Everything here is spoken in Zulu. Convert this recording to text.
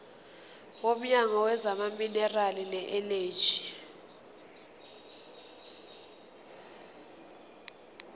womnyango wezamaminerali neeneji